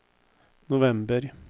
november